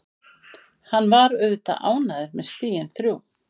Hann var auðvitað ánægður með stigin þrjú.